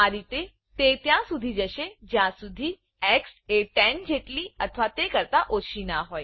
આ રીતે તે ત્યાં સુધી જશે જ્યાં સુધી એક્સ એ 10 જેટલી અથવા તે કરતા ઓછી ના હોય